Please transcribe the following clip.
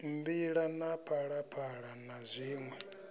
mbila na phalaphala na zwiṋwe